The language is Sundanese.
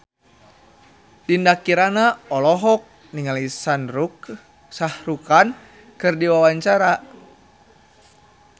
Dinda Kirana olohok ningali Shah Rukh Khan keur diwawancara